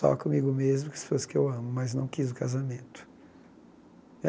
Só comigo mesmo, que que eu amo, mas não quis o casamento.